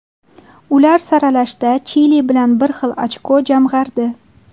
Ular saralashda Chili bilan bir xilda ochko jamg‘ardi.